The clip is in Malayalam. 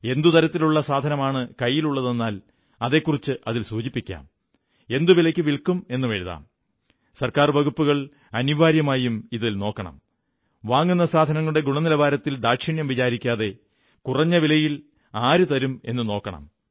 എന്തു തരത്തിലുള്ള സാധനമാണ് കൈയിലുള്ളതെന്നാൽ അതെക്കുറിച്ച് അതിൽ സൂചിപ്പിക്കാം എന്തുവിലയ്ക്കു വില്ക്കും എന്നെഴുതാം ഗവൺമെന്റ് വകുപ്പുകൾ അനിവാര്യമായും ഇതിൽ നോക്കണം വാങ്ങുന്ന സാധനങ്ങളുടെ ഗുണനിലവാരത്തിൽ ദാക്ഷിണ്യം വിചാരിക്കാതെ കുറഞ്ഞ വിലയിൽ ആരു തരും എന്നു നോക്കണം